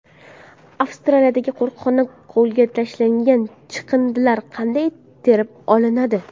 Avstraliyadagi qo‘riqxonada ko‘lga tashlangan chiqindilar qanday terib olinadi?